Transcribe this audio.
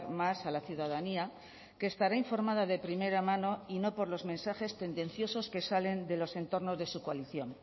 más a la ciudadanía que estará informada de primera mano y no por los mensajes tendenciosos que salen de los entornos de su coalición